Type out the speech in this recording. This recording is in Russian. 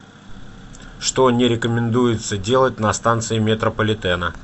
что не рекомендуется делать на станции метрополитена